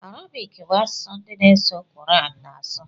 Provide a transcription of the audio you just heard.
Arabic bụ asụsụ ndi n'eso Quran na asu